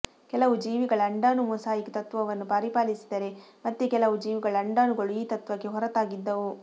ಕೆಲವು ಜೀವಿಗಳ ಅಂಡಾಣು ಮೊಸಾಯಿಕ್ ತತ್ತ್ವವನ್ನು ಪರಿಪಾಲಿಸಿದರೆ ಮತ್ತೆ ಕೆಲವು ಜೀವಿಗಳ ಅಂಡಾಣುಗಳು ಈ ತತ್ವಕ್ಕೆ ಹೊರತಾಗಿದ್ದವು